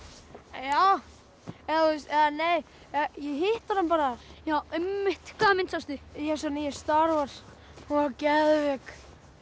já já eða nei ég hitti hana bara einmitt hvaða mynd sástu nýju star Wars hún var geðveik